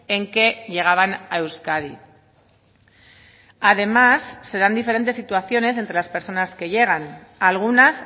en que llegaban a euskadi además se dan diferentes situaciones entre las personas que llegan algunas